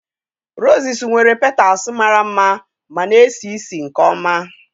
Roses nwere petals mara mma ma na-esi ísì nke ọma.